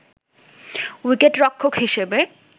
উইকেটরক্ষক হিসেবে